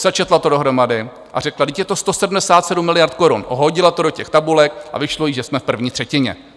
Sečetla to dohromady a řekla: Vždyť je to 177 miliard korun, hodila to do těch tabulek a vyšlo jí, že jsme v první třetině.